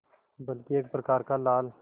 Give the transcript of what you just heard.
बल्कि एक प्रकार का लाल